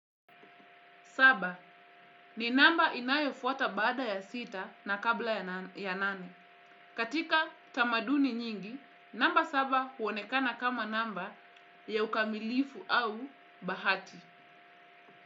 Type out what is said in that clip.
Saba ni namba inayofuata baada ya sita na kabla ya nane. Katika tamaduni nyingi, namba saba huonekana kama namba ya ukamilifu au bahati.